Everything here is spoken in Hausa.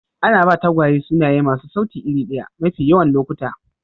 Ana ba tagwaye sunaye masu sauti iri ɗaya mafi yawan lokuta.